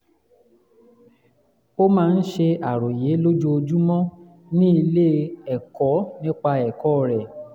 ó máa ń ṣe àròyé lójoojúmọ́ ní ilé-ẹ̀kọ́ nípa ẹ̀kọ́ rẹ̀